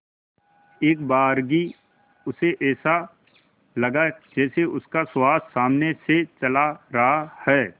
एकबारगी उसे ऐसा लगा जैसे उसका सुहास सामने से चला रहा है